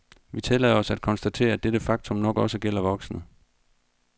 Vi tillader os at konstatere, at dette faktum nok også gælder voksne.